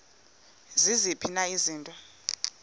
ziziphi na izinto